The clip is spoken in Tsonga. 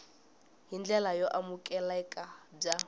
hi ndlela yo amukeleka bya